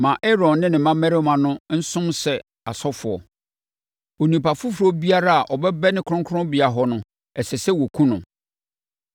Ma Aaron ne ne mmammarima no nsom sɛ asɔfoɔ; onipa foforɔ biara a ɔbɛbɛne kronkronbea hɔ no, ɛsɛ sɛ wɔkum no.”